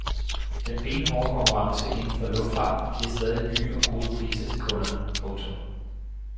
Den benhårde konkurrence inden for luftfarten giver stadig nye og gode priser til kunderne. punktum